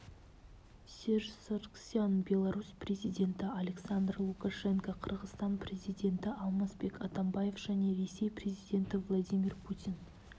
серж саргсян беларусь президенті александр лукашенко қырғызстан президенті алмазбек атамбаев және ресей президенті владимир путин